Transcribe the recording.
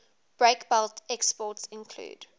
breakbulk exports include